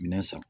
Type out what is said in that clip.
Minɛn san